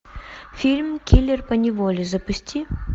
фильм киллер поневоле запусти